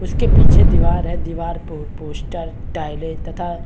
उसके पीछे दिवार है दीवार पे पोस्टर टाईले तथा--